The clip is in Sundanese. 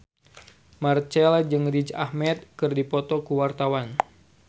Marchell jeung Riz Ahmed keur dipoto ku wartawan